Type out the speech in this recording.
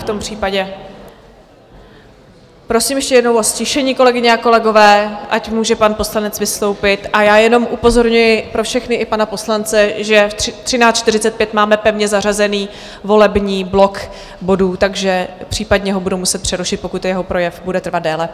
V tom případě prosím ještě jednou o ztišení, kolegyně a kolegové, ať můžeme pan poslanec vystoupit, a já jenom upozorňuji, pro všechny i pana poslance, že ve 13.45 máme pevně zařazený volební blok bodů, takže případně ho budu muset přerušit, pokud jeho projev bude trvat déle.